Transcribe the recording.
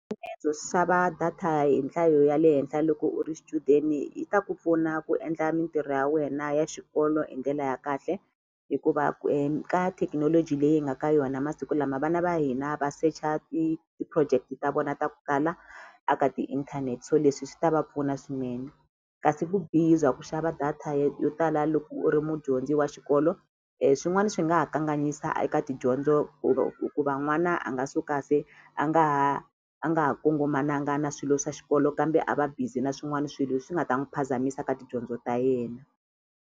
data hi nhlayo ya le henhla loko u ri xichudeni yi ta ku pfuna ku endla mintirho ya wena ya xikolo hi ndlela ya kahle hikuva ka thekinoloji leyi hi nga ka yona masiku lama vana va hina va secha ti-project ta vona ta ku tala a ka tiinthanete so leswi swi ta va pfuna swinene kasi vubihi bya ku xava data yo tala loko u ri mudyondzi wa xikolo swin'wani swi nga ha kanganyisa eka tidyondzo hikuva n'wana a nga suka se a nga ha a nga ha kongomananga na swilo swa xikolo kambe a va busy na swin'wani swilo leswi nga ta n'wi phazamisa ka tidyondzo ta yena.